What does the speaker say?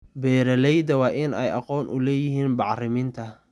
Beeralayda waa in ay aqoon u leeyihiin bacriminta.